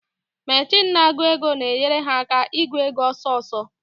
Mechin na-agụ ego na-enyere ha aka ị gụ ego ọsọsọ.